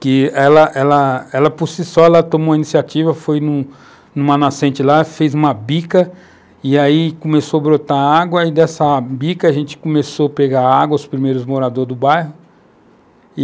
que ela ela por si só tomou a iniciativa, foi numa nascente lá, fez uma bica e aí começou a brotar água e dessa bica a gente começou a pegar água, os primeiros moradores do bairro.